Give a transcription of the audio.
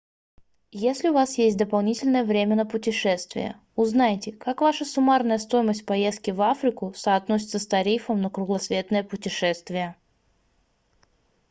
если у вас есть дополнительное время на путешествия узнайте как ваша суммарная стоимость поездки в африку соотносится с тарифом на кругосветное путешествие